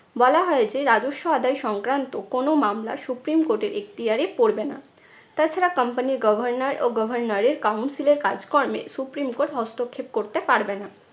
বলা হয় যে রাজস্ব আদায় সংক্রান্ত কোনো মামলা supreme court এর এখতিয়ারে পড়বে না। তাছাড়া company র governor ও governor এর council এর কাজ কর্মে supreme court হস্তক্ষেপ করতে পারবে না।